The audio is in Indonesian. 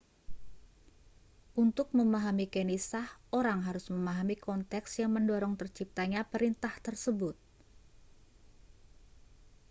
untuk memahami kenisah orang harus memahami konteks yang mendorong terciptanya perintah tersebut